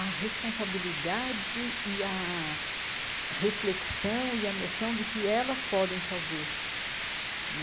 a responsabilidade, e a reflexão e a noção de que elas podem fazer né.